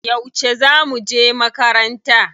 Yauce za muje makaranta?